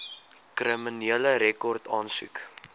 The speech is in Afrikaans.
kriminele rekord aansoek